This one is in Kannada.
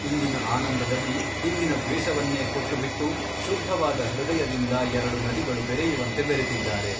ಇಂದಿನ ಆನಂದದಲ್ಲಿ ಹಿಂದಿನ ದ್ವೇಷವನ್ನೇ ಕೊಟ್ಟುಬಿಟ್ಟು ಶುದ್ಧವಾದ ಹೃದಯದಿಂದ ಎರಡು ನದಿಗಳು ಬೆರೆಯುವಂತೆ ಬೆರೆತಿದ್ದಾರೆ.